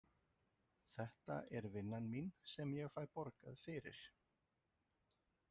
Þetta er vinnan mín sem ég fæ borgað fyrir.